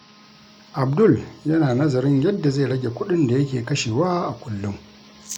Abdul yana nazarin yadda zai rage kuɗin da yake kashewa a kullum.